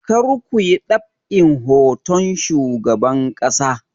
Kar ku yi ɗab'in hoton shugaban ƙasa!